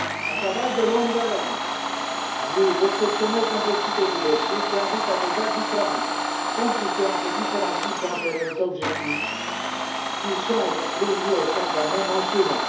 Un travail de longue haleine, vu l'exceptionnelle complexité du dossier, qui invite à des arbitrages compliqués entre différents types d'intérêts et d'objectifs qui sont réunis au sein d'un même instrument.